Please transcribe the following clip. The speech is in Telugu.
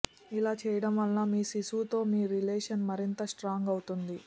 ఇలా చేయటం వల్ల మీ శిశువుతో మీ రిలేషన్ మరింత స్ట్రాంగ్ అవుతుంది